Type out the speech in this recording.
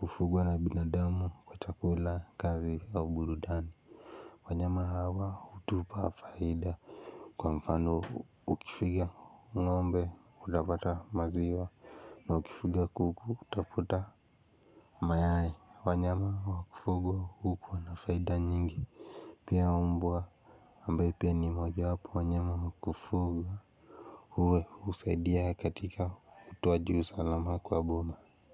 hufugwa na binadamu kwa chakula kazi wa burudani. Wanyama hawa hutupa faida. Kwa mfano ukifuga ngombe utapata maziwa. Na ukifuga kuku utapata mayai wanyama wa kufugwa hukuwa nafaida nyingi. Pia mbua ambaye pia ni moja wapo wanyama wa kufuga. Uwe husaidia katika utowaji usalama kwa boma.